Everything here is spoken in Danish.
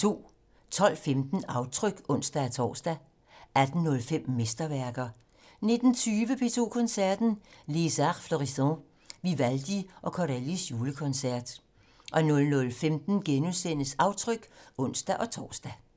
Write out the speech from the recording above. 12:15: Aftryk (ons-tor) 18:05: Mesterværker 19:20: P2 Koncerten - Les Arts Florissants, Vivaldi og Corellis julekoncert 00:15: Aftryk *(ons-tor)